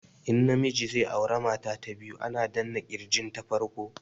In na miji zai aura mata ta biyu ana danna kirgin ta farko